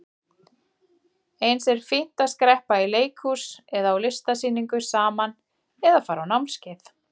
Eins er fínt að skreppa í leikhús eða á listasýningu saman eða fara á námskeið.